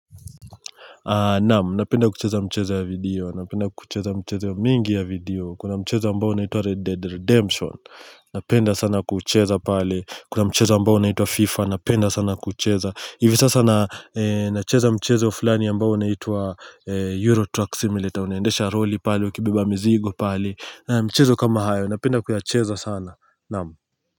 Naam, napenda kucheza mchezo ya video, napenda kucheza mchezk ya mingi ya video, kuna mchezo ambao unaitwa Red Dead Redemption Napenda sana kuucheza pale, kuna mchezo ambao unaitwa Fifa, napenda sana kuucheza, hivi sasa na nacheza mchezo fulani ambao unaitwa Eurotrack simulator, unaendesha lori pale, ukibeba mzigo pale, na mchezo kama hayo, napenda kuyacheza sana, naam.